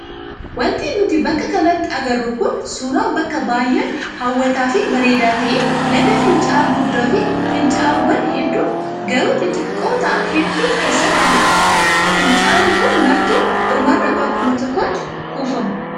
Wanti nuti bakka kanatti agarru kun suuraa bakka baay'aa hawwataa fi bareedaa ta'e laga fincaa'aa guddaa fi fincaa'aawwan hedduu garuu xixiqqoo ta'an hedduu of keessaa qabudha. Fincaa'aan kun martuu dhumarra bakkuma tokkotti kuufamu.